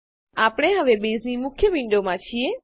આપણે હવે બેઝની મુખ્ય વિન્ડોમાં છીએ